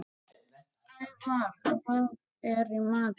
Ævarr, hvað er í matinn?